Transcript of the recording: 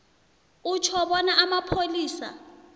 utjho bona amapholisa